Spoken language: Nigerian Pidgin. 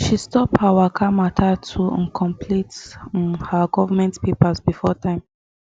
she stop her waka matter to um complete um her government papers before time